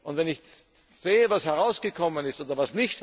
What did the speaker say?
Und wenn ich sehe, was herausgekommen ist bzw.